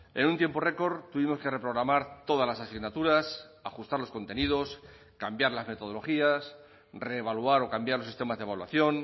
en un tiempo récord tuvimos que reprogramar todas las asignaturas ajustar los contenidos cambiar las metodologías reevaluar o cambiar los sistemas de evaluación